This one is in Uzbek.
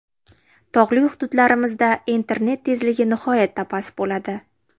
Tog‘li hududlarimizda internet tezligi nihoyatda past bo‘ladi.